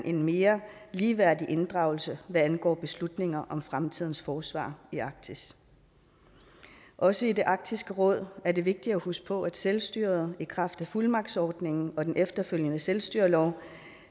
en mere ligeværdig inddragelse hvad angår beslutninger om fremtidens forsvar i arktis også i arktisk råd er det vigtigt at huske på at selvstyret i kraft af fuldmagtsordningen og den efterfølgende selvstyrelov